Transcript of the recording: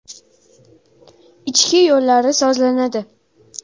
Ichki yo‘llari sozlanadi.